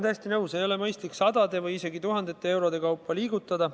Ei ole mõistlik sadade või isegi tuhandete eurode kaupa liigutada.